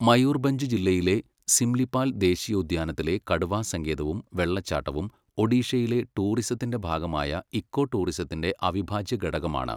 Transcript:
മയൂർബഞ്ച് ജില്ലയിലെ സിംലിപാൽ ദേശീയോദ്യാനത്തിലെ കടുവാ സങ്കേതവും വെള്ളച്ചാട്ടവും ഒഡീഷയിലെ ടൂറിസത്തിന്റെ ഭാഗമായ ഇക്കോ ടൂറിസത്തിന്റെ അവിഭാജ്യ ഘടകമാണ്.